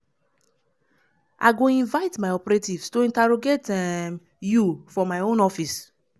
i go invite my operatives to interrogate um you for my own office.